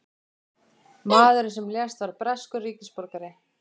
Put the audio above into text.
Maðurinn sem lést var breskur ríkisborgari